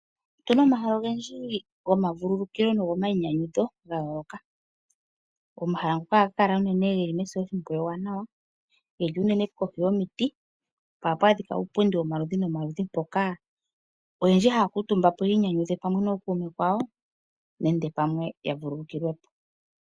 Otu na omahala ogendji gomavululukilo nomayinyanyudho ga yooloka. Omahala ngoka ohaga kala unene ge li mesiloshimpwiyu ewanawa, ge li unene kohi yomiti. Ohapu adhika uupundi womaludhi nomaludhi mpoka oyendji haya kuutumba po pamwe nookuuume kawo nenge pamwe ya vululukilwe po.